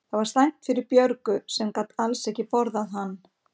Það var slæmt fyrir Björgu sem gat alls ekki borðað hann.